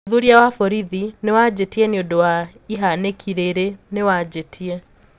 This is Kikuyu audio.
ũthûthurĩa wa borithi niwaanjitie ñĩũndũ wa ihaniki riri niwanjitie.